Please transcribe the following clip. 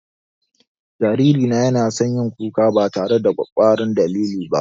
Jariri na ya na son yin kuka ba tare da ƙwakkwaran dalili ba